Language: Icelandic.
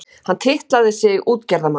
Hann titlaði sig útgerðarmann.